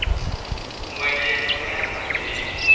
ngwenya yi tshama ematini